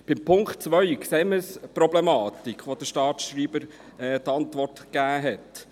Beim Punkt 2 sehen wir die Problematik, so wie der Staatsschreiber die Antwort gegeben hat.